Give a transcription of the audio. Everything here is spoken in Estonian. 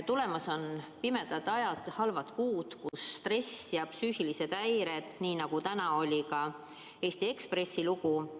Tulemas on pimedad ajad, halvad kuud, kus stress ja psüühilised häired võimenduvad, nii nagu täna kirjutati ka Eesti Ekspressi loos.